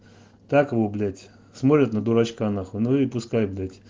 так вы блять смотрят на дурачка нахуй ну и пускай блядь